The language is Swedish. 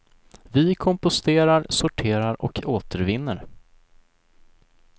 Vi komposterar, sorterar och återvinner.